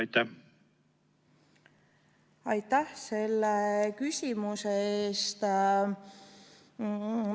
Aitäh selle küsimuse eest!